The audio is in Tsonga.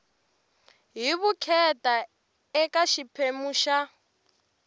hi vukheta eka xiphemu xa